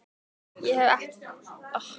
Ég hef ekki komið þar áður.